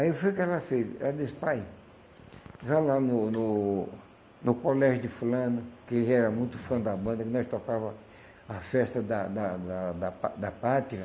Aí o que foi que ela fez, ela disse, pai, já lá no no no colégio de fulano, que ele era muito fã da banda, que nós tocava a festa da da da da pá da pátria,